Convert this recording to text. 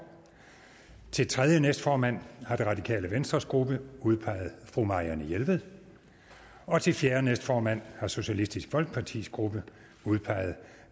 til tredje næstformand har det radikale venstres gruppe udpeget fru marianne jelved og til fjerde næstformand har socialistisk folkepartis gruppe udpeget